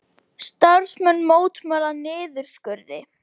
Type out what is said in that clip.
Starfsmenn mótmæla niðurskurði